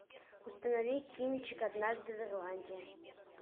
установи кинчик однажды в ирландии